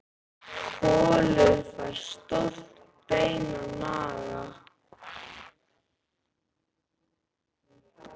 Kolur fær stórt bein að naga.